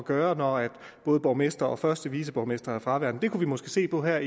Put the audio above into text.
gøre når både borgmester og første viceborgmester er fraværende det kunne vi måske se på her